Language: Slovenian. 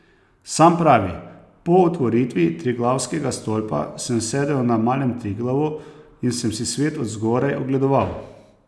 Sam pravi: "Po otvoritvi Triglavskega stolpa sem sedel na Malem Triglavu in sem si svet od zgoraj ogledoval.